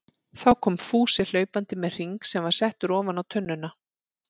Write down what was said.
Þá kom Fúsi hlaupandi með hring sem var settur ofan á tunnuna.